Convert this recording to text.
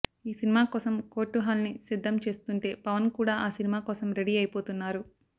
ఈ సినిమా కోసం కోర్టు హాల్ని సిద్ధం చేస్తుంటే పవన్ కూడా ఆ సినిమా కోసం రెడీ అయిపోతున్నారు